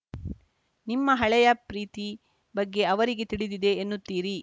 ನಿಮ್ಮ ಹಳೆಯ ಪ್ರೀತಿ ಬಗ್ಗೆ ಅವರಿಗೆ ತಿಳಿದಿದೆ ಎನ್ನುತ್ತೀರಿ